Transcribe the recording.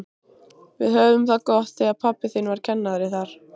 Við höfðum það gott þegar pabbi þinn var kennari þar.